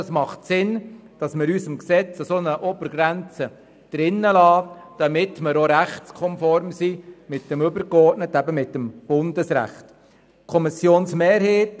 Es ist sinnvoll, diese Obergrenze in unserem Gesetz zu belassen, damit wir auch mit dem übergeordneten Recht, dem Bundesrecht, konform sind.